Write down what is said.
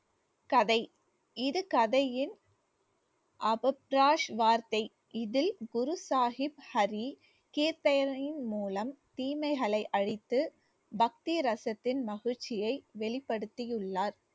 கதை இது கதையின் அபத்ராஷ் வார்த்தை இதில் குரு சாஹிப் ஹரி மூலம் தீமைகளை அழித்து பக்தி ரசத்தின் மகிழ்ச்சியை வெளிப்படுத்தியுள்ளார்